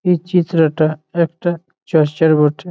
পিচ্চি ছেলেটা একটা চশ্বের বটে।